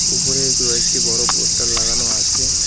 উপরে কয়েকটি বড় পোষ্টার লাগানো আছে।